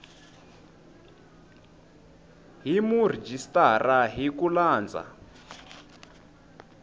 hi murhijisitara hi ku landza